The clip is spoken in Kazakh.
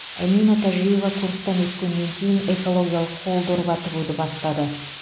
әмина тәжиева курстан өткеннен кейін экологиялық қол дорба тігуді бастады